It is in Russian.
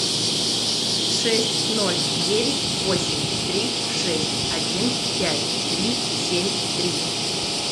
шесть ноль девять восемь три шесть один пять три семь три